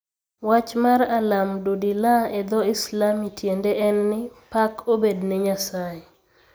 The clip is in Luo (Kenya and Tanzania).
Wach mar Alhamdulillah e dho Islami tiende en ni "Pak obed ne Nyasaye"